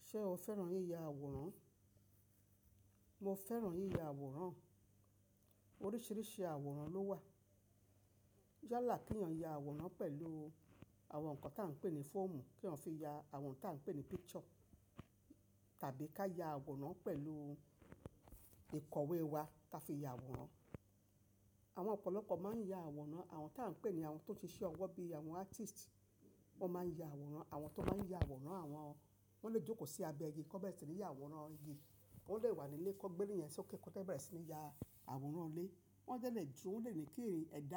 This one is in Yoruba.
Ṣé o fẹ́ràn yíya àwòrán? Mo fẹ́ràn yíya àwòrán. Oríṣìíríṣìí àwòrán ló wà. Yálà kí ọ̀yán ya àwòrán pẹ̀lú àwọn nǹkan tá ń pè ní fóòmù, kí ọ̀yán fi ya àwọn tá ń pè ní picture tàbí ká ya àwòrán pẹ̀lú ìkọ̀wé wa tá fi ya àwòrán. Àwọn ọ̀pọ̀lọpọ̀ máa ń ya àwòrán. Àwọn tá ń pè ní àwọn tó ń ṣe iṣẹ́ ọwọ́ bíi àwọn artist wọ́n máa ń ya àwòrán. Àwọn tó máa ń ya àwòrán àwọn, wọn lè jókòó sí abẹ igi, kọ́bẹ̀tẹ̀ tìní ya àwòrán igi. Ó lè wà nílé, kọ́ gbẹ́rẹ́ yẹn ṣe kẹ́kọ̀ọ́ tẹ́ bẹ̀rẹ̀ sí ní ya àwòrán ilé. Wọ́n jẹ̀ ń lè jó, wọ́n lè ní kèrèǹ ẹ̀dá.